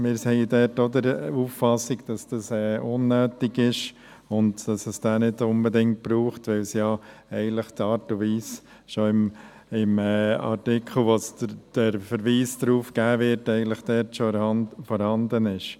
Auch dort sind wir der Auffassung, dass dies unnötig ist und es diesen nicht unbedingt braucht, weil die Art und Weise im Artikel, auf den verwiesen wird, schon vorhanden ist.